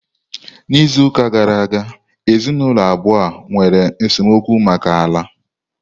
N'izuụka gara aga, ezinụlọ abụọ a nwere esemokwu maka ala